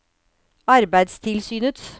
arbeidstilsynets